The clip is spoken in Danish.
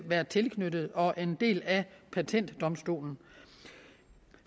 være tilknyttet og være en del af patentdomstolen